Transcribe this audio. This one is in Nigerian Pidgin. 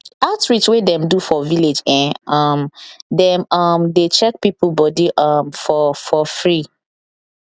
outreach wey dem do for village eh um dem um dey check people body um for for free